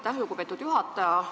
Aitäh, lugupeetud juhataja!